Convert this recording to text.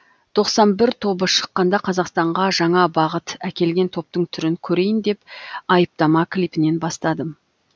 тоқсан бір тобы шыққанда қазақстанға жаңа бағыт әкелген топтың түрін көрейін деп айыптама клипінен бастадым